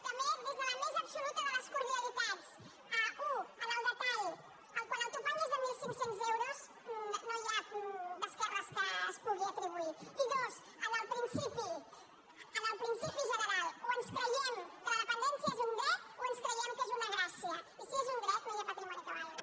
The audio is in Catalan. també des de la més absoluta de les cordialitats u en el detall quan el topall és de mil cinc cents euros no hi ha esquerres a què es pugui atribuir i dos en el principi general o ens creiem que la dependència és un dret o ens creiem que és una gràcia i si és un dret no hi ha patrimoni que valgui